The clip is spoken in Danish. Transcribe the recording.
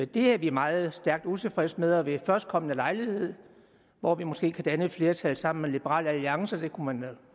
det er vi meget stærkt utilfredse med og ved førstkommende lejlighed hvor vi måske kan danne et flertal sammen med liberal alliance det kunne man da